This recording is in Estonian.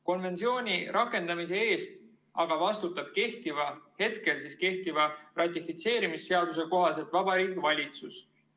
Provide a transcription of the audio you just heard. Konventsiooni rakendamise eest aga vastutab hetkel kehtiva ratifitseerimisseaduse kohaselt Vabariigi Valitsus.